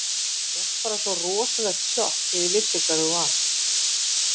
Ég fékk bara svo rosalegt sjokk þegar ég vissi hver þú varst.